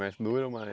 Mais dura ou mais